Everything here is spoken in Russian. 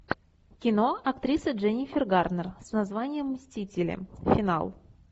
кино актриса дженнифер гарнер с названием мстители финал